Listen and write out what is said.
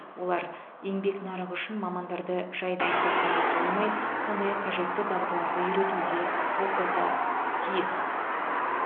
олар еңбек нарығы үшін мамандарды жай дайындап қана қоймай сондай ақ қажетті дағдыларды үйретуге оқуға тиіс